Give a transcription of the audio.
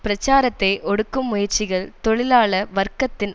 பிரச்சாரத்தை ஒடுக்கும் முயற்சிகள் தொழிலாள வர்க்கத்தின்